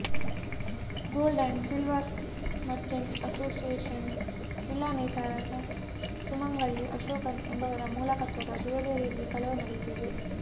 gold and silver merchants association ಜಿಲ್ಲಾ ನೇತಾರ ಸುಮಂಗಲಿ ಅಶೋಕನ್ ಎಂಬವರ ಮಾಲಕತ್ವದ ಜ್ಯುವೆಲ್ಲರಿಯಲ್ಲಿ ಕಳವು ನಡೆದಿದೆ